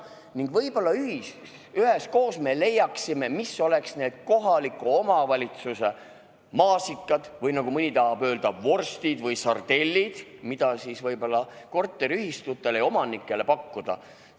Ning võib-olla üheskoos me leiaksime, mis oleks need kohaliku omavalitsuse maasikad – või nagu mõni tahab öelda, vorstid või sardellid –, mida võib-olla korteriühistutele ja omanikele pakkuda.